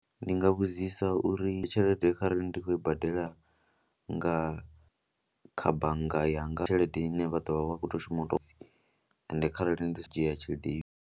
Ndi nga vhudzisa uri tshelede kharali ndi khou i badela nga kha bannga yanga tshelede ine vha ḓo vha vha khou toi shuma u tou pfhi ende kharali ndi tshi dzhia tshelede.